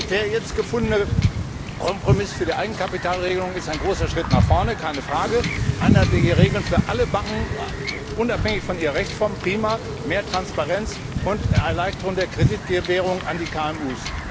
Der jetzt gefundene Kompromiss für die Eigenkapitalregelung ist ein großer Schritt nach vorne keine Frage einheitliche Regeln für alle Banken unabhängig von ihrer Rechtsform prima, mehr Transparenz und Erleichterung der Kreditgewährung an die KMU.